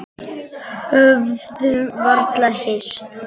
Höfðum varla hist.